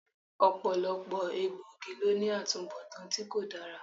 Ọ̀pọ̀lọpọ̀ egbòogi ló ní atubọtan tí kò dára